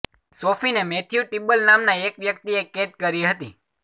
સોફીને Matthew Tibble નામનાં એક વ્યક્તિએ કેદ કરી હતી